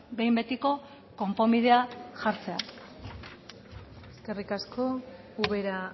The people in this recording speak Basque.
behin betiko konponbidea jartzea eskerrik asko ubera